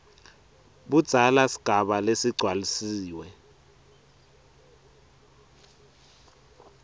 budzala sigaba lesigcwalisiwe